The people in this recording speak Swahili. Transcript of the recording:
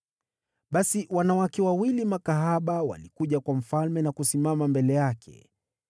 Basi wanawake wawili makahaba walikuja kwa mfalme na kusimama mbele yake.